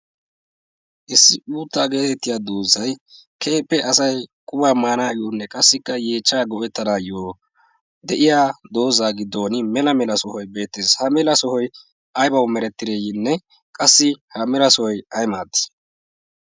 issi uuttaa getettiyaa doozay keehippe asay quma maanayyonne qassikk yeechcha go'atanayyo de'iyaa dooza giddon de'iyaa mela mela sohoy beettees. ha mela sohoy aybba meretide? qassikka ha mela sohoy ay maadi?